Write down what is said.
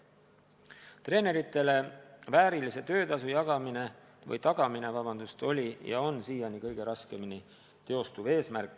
Treeneritele väärilise töötasu tagamine on siiani kõige raskemini teostatav eesmärk.